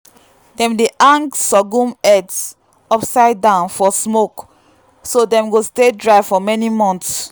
dem dey hang sorghum heads upside down for smoke so dem go stay dry for many months.